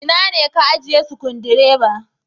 Ina ne ka ajiye Sukudireba?